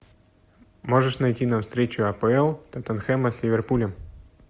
можешь найти нам встречу апл тоттенхэма с ливерпулем